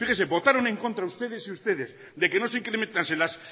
fíjese votaron en contra ustedes y ustedes de que no se incrementase